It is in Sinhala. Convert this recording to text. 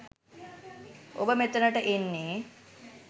ඔබ මෙතනට එන්නේ